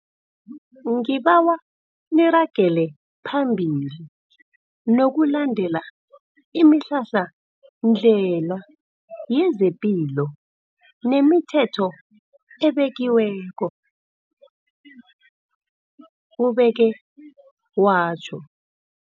Ngibawa niragele phambili nokulandela imihlahla ndlela yezepilo nemithetho ebekiweko, ubeke watjho.